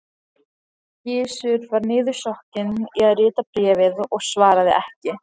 Gizur var niðursokkinn í að rita bréfið og svaraði ekki.